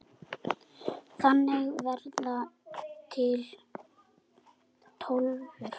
Þannig verða til Tólfur.